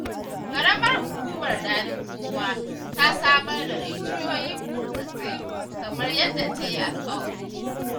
Qaramar Hukumar Daɗinkowa ta samar da rijiyoyin burtsatse kamar yadda ta yi alƙawari.